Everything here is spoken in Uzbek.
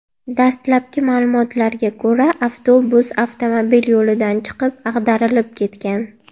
Dastlabki ma’lumotlarga ko‘ra, avtobus avtomobil yo‘lidan chiqib, ag‘darilib ketgan.